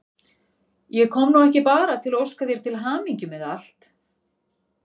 Ég kom nú ekki bara til að óska þér til hamingju með allt.